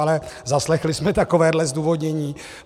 Ale zaslechli jsme takovéhle zdůvodnění.